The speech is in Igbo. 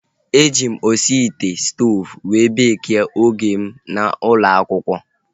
E ji m osi ite stoovu wee beekie oge m nọ n'ụlọ akwụkwọ